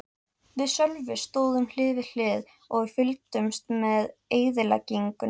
Við Sölvi stóðum hlið við hlið og fylgdumst með eyðileggingunni.